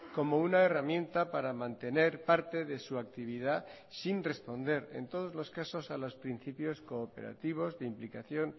como una herramienta para mantener parte de su actividad sin responder en todos los casos a los principios cooperativos de implicación